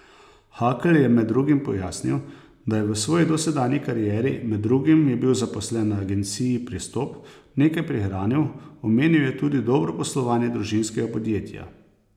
Hakl je med drugim pojasnil, da je v svoji dosedanji karieri, med drugim je bil zaposlen na agenciji Pristop, nekaj prihranil, omenil je tudi dobro poslovanje družinskega podjetja.